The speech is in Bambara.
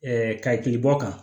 kakili bɔ kan